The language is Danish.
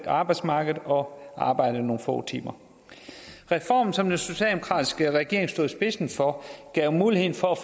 arbejdsmarkedet og arbejde nogle få timer reformen som den socialdemokratiske regering stod i spidsen for gav muligheden for at